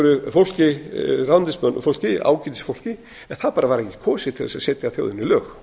einhverju fólki ráðuneytisfólki ágætisfólki en það bara var ekkert kosið til þess að setja þjóðinni lög